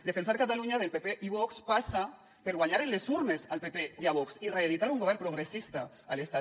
defensar catalunya del pp i vox passa per guanyar a les urnes al pp i a vox i reeditar un govern progressista a l’estat